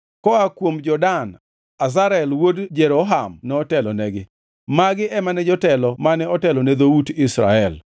koa kuom jo-Dan: Azarel wuod Jeroham notelonegi. Magi ema ne jotelo mane otelo ne dhout Israel.